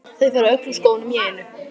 Þau fara öll úr skónum í einu.